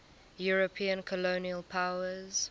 european colonial powers